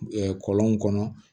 kɔlɔnw kɔnɔ